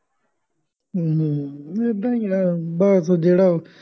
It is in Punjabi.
ਹੂੰ ਹੂੰ ਏਦਾਂ ਹੀ ਹੈ ਬੱਸ ਜਿਹੜਾ